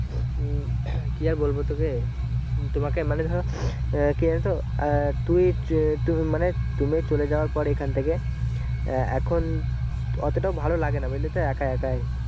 উম কি আর বলবো তোকে তোমাকে মানে ধরো আহ কি জানতো আহ তুই চ মানে তুমি চলে যাওয়ার পরে একইখান থেকে আহ এখন অতটা ভালো লাগে না বুঝলেতো একা একাই ।